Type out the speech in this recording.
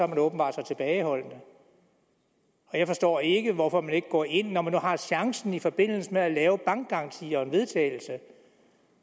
man åbenbart tilbageholdende jeg forstår ikke hvorfor man ikke går ind når man nu har chancen i forbindelse med at lave bankgaranti og en vedtagelse